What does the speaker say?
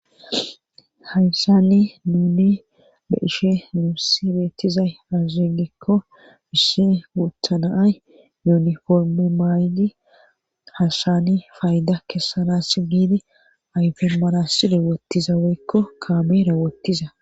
Hayssanni nuni be ishe nuussi beettizay azzegekko mhissi guuthanaay yuniforme may'idi hashshani fayda kessanas giidi ayfermanassi rewottizaweykko kaame rewottiza.